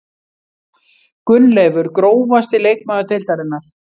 Gunnleifur Grófasti leikmaður deildarinnar?